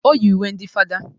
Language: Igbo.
O yi uwe ndị fada